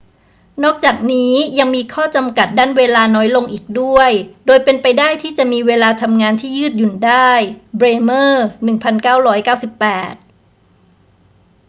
นอกจากนี้ ยังมีข้อจำกัด ด้านเวลาน้อยลงอีกด้วย โดยเป็นไปได้ที่จะมีเวลาทำงานที่ยืดหยุ่นได้ เบรเมอร์ 1998